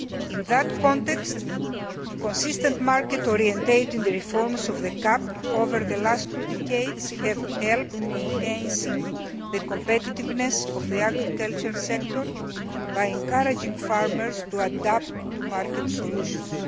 card. In that context, consistent market orientation of the reforms of the CAP over the last two decades has helped enhance the competitiveness of the agriculture sector by encouraging farmers to adapt to market solutions.